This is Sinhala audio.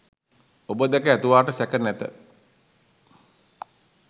ඔබ දැක ඇතුවාට සැක නැත.